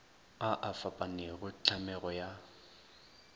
a a fapanego tlhamego ya